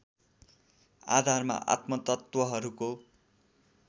आधारमा आत्मतत्त्वहरूको